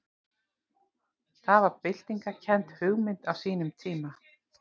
Það var byltingarkennd hugmynd á sínum tíma.